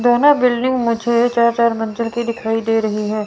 दोनों बिल्डिंग मुझे चार चार मंजिल की दिखाई दे रही है।